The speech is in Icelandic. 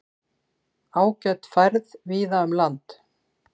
Ágæt færð víða um land